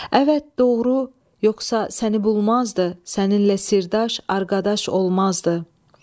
Əvət, doğru, yoxsa səni bulmazdı səninlə sirdaş, arqadaş olmazdı.